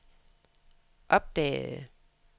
opdagede